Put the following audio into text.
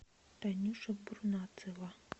танюша бурнацева